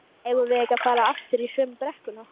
eigum við ekki að fara aftur í sömu brekkuna?